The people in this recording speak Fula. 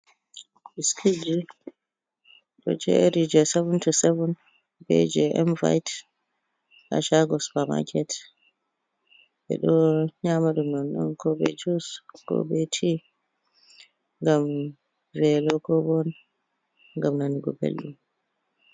Biskit ji ɗo Jeri je savun to savun be je envayet ha shago supa maket. ɓeɗo yama ɗum nonno ko be jus ko be ti gam velo ko bo game nanugo belɗum.